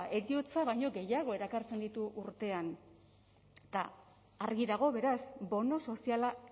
heriotza baino gehiago erakartzen ditu urtean eta argi dago beraz bono soziala